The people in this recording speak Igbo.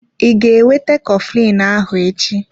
I ga-ewete coflin ahụ echi?